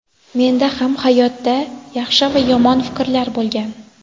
Menda ham hayotda yaxshi va yomon fikrlar bo‘lgan.